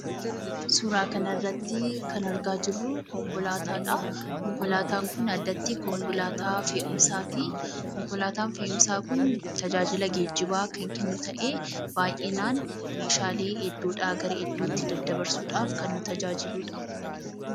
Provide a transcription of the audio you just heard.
Suura kana irratti kan argaa jirru konkolaataadha. Konkolaataan Kun addatti konkolaataa fe'umsaati. Konkolaataan fe'umsaa Kun tajaajila gijjibaa kan kan jennu ta'ee baay'inaan meeshaalee iddoodhaa iddootti daddabarsuuf kan nu gargaarudha.